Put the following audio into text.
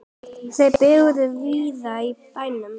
Þau bjuggu víða í bænum.